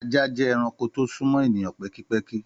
Àjá jẹ ẹrànkó to sún mọ èníyàn pẹ̀kípẹ̀kí.